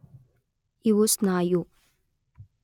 ಇವು ಸ್ನಾಯು